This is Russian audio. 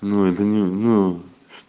ну это ну